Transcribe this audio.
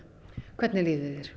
hvernig líður